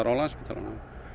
á Landspítalanum